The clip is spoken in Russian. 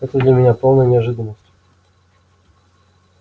это для меня полная неожиданность